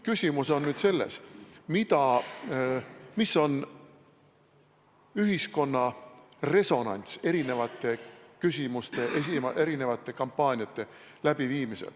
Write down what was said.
Küsimus on nüüd selles, mis on ühiskonna resonants erinevate küsimuste, erinevate kampaaniate läbiviimisel.